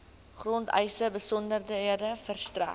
grondeise besonderhede verstrek